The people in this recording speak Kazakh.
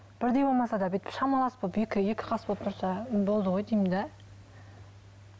бірдей болмаса да бүйтіп шамалас болып екі екі қас болып тұрса болды ғой деймін де